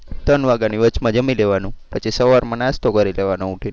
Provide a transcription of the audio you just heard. ત્રણ વાગ્યાની વચમાં જમી લેવાનું પછી સવારમાં નાસ્તો કરી લેવાનો ઊઠીને.